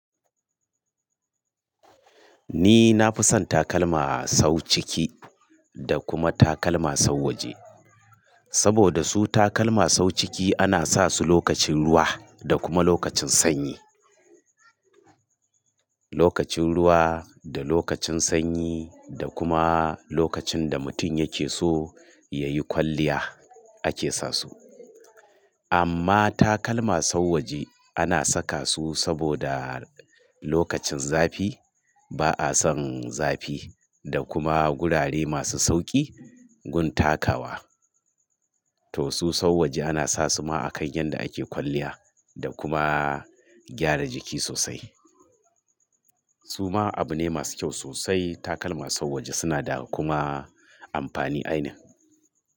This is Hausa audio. Ni na fi son takalma sau ciki da kuma takalma sau waje. Saboda su takalma sau ciki ana sa su lokacin ruwa da kuma lokacin sanyi. Lokacin ruwa da lokacin sanyi da kuma lokacin da mutum yake so ya yi kwalliya ake sa su. Amma takalma sau waje ana saka su saboda lokacin zafi. Ba a son zafi da kuma gurare masu sauƙi gun takawa. To su sau waje ana sa su ma a kan yanda ake kwalliya da kuma gyara jiki sosai. Su ma abu ne masu kyau sosai takalma sau waje suna da kuma amfani ainin.